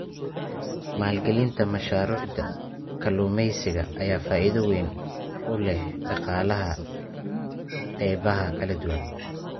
Maalgelinta mashaariicda kalluumeysiga ayaa faa'iido weyn u leh dhaqaalaha qaybaha kala duwan.